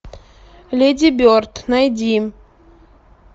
леди берд найди